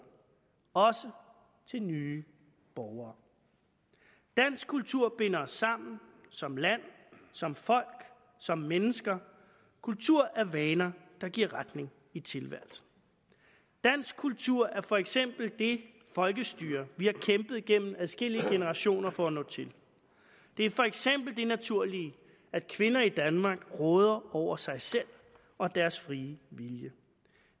også til nye borgere dansk kultur binder os sammen som land som folk som mennesker kultur er vaner der giver retning i tilværelsen dansk kultur er for eksempel det folkestyre vi har kæmpet gennem adskillige generationer for at nå til det er for eksempel det naturlige at kvinder i danmark råder over sig selv og deres frie vilje